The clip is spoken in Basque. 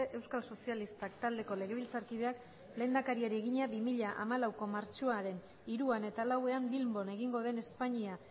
euskal sozialistak taldeko legebiltzarkideak lehendakari egina bi mila hamalauko martxoaren hiruan eta lauan bilbon egingo den espainia